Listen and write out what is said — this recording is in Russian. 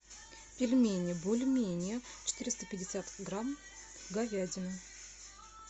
пельмени бульмени четыреста пятьдесят грамм говядина